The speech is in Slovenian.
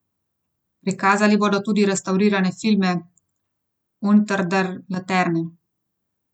Prikazali bodo tudi restavrirane filme Unter der Laterne.